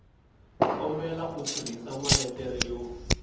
kombela u tirhisa maletere yo